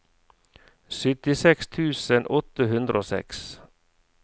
syttiseks tusen åtte hundre og seks